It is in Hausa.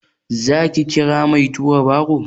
Za ki kira mai tura baro?